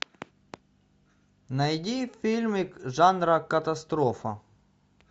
найди фильмик жанра катастрофа